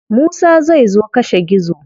Musa zai zo kashe gizo.